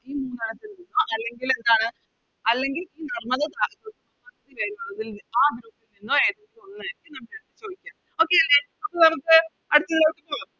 അല്ലെങ്കിൽ എന്താണ് അല്ലെങ്കിൽ നർമ്മദ Okay അല്ലെ അപ്പൊ നമുക്ക് അടുത്തത്തിലോട്ട് പോകാം